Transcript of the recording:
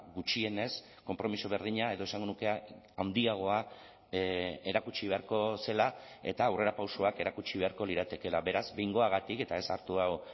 gutxienez konpromiso berdina edo esango nuke handiagoa erakutsi beharko zela eta aurrerapausoak erakutsi beharko liratekeela beraz behingoagatik eta ez hartu hau